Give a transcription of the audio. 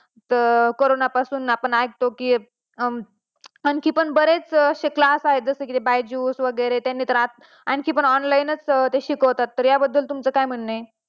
तर करोना पासून आपण ऐकतो की हम्म आणखी पण बरेच class आहेत जसे कि बायजु course वगरे आणखी पण online असतात ते शिकवतात तर या बद्दल तुमचा काय म्हणणं आहे